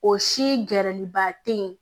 O si gɛrɛliba te yen